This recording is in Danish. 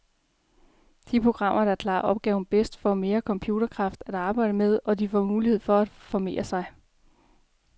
De programmer, der klarer opgaven bedst, får mere computerkraft at arbejde med, og de får mulighed for at formere sig.